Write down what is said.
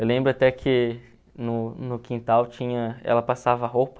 Eu lembro até que no no quintal tinha ela passava roupa.